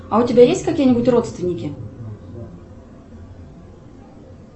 а у тебя есть какие нибудь родственники